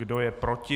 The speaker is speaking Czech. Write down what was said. Kdo je proti?